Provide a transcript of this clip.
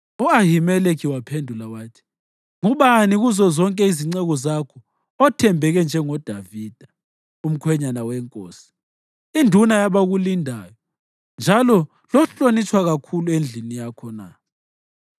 U-Ahimeleki waphendula wathi, “Ngubani kuzozonke izinceku zakho othembeke njengoDavida, umkhwenyana wenkosi, induna yabakulindayo njalo lohlonitshwa kakhulu endlini yakho na?